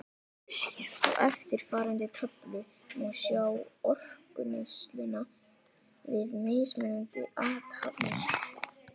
Á eftirfarandi töflu má sjá orkuneysluna við mismunandi athafnir.